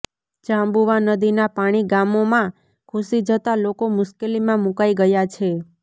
જાબુંવા નદીના પાણી ગામોમાં ઘુસી જતાં લોકો મુશ્કેલીમાં મુકાઇ ગયા છે